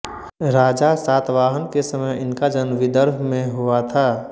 राजा शातवाहन के समय इनका जन्म विदर्भ में हुआ था